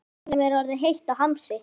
Kokkinum er orðið heitt í hamsi.